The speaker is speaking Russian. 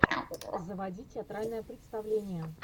заводи театральное представление